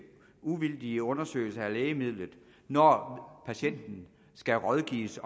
uvildige undersøgelser af lægemidlet når patienten skal rådgives